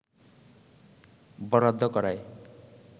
বরাদ্দ করায়